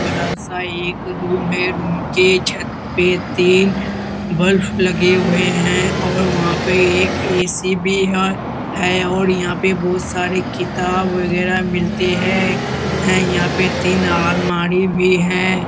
बड़ा सा एक रूम है रूम के छत पर तीन बल्ब लगे हुए हैं और वहां पर एक ए.सी. भी है और यहां पर बहुत सारे किताब वगैरह मिलते हैं यहां पर तीन अलमारी भी हैं।